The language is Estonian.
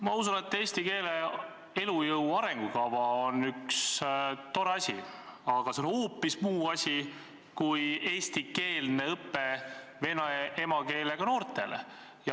Ma usun, et eesti keele elujõu arengukava on üks tore asi, aga see on hoopis muu asi kui eestikeelne õpe vene emakeelega noortele.